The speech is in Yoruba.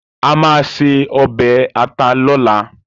A máa se ọbẹ̀ ata lọ́la